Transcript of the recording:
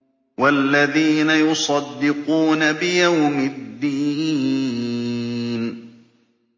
وَالَّذِينَ يُصَدِّقُونَ بِيَوْمِ الدِّينِ